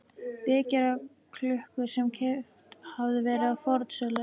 vekjaraklukku sem keypt hafði verið á fornsölu.